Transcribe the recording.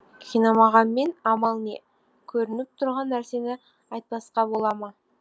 қинамағанмен амал не көрініп тұрған нәрсені айтпасқа бола ма